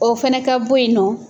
O fɛnɛ ka bɔ yen nɔ.